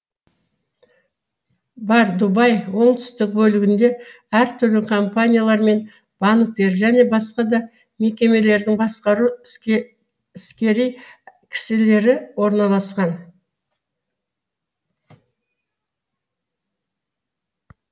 бар дубай оңтүстік бөлігінде әртүрлі компаниялар мен банктер және басқа да мекемелердің басқару іскери кісілері орналасқан